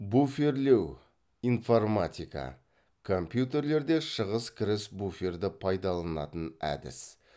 буферлеу информатика компьютерлерде шығыс кіріс буферді пайдаланатын әдіс